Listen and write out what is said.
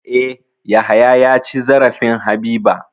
E, Yahaya ya ci zarafin Habiba.